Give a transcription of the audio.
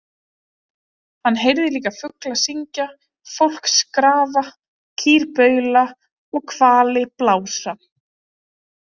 Hann heyrði líka fugla syngja, fólk skrafa, kýr baula og hvali blása.